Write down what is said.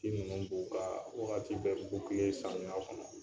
Ti nunnu dun kaa wagati bɛ samiya kɔnɔ.